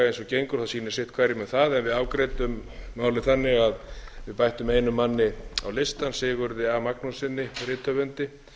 gengur sýnist sitt hverjum um það en við afgreiddum málið þannig að við bættum einum manni á listann sigurði a magnússyni rithöfundi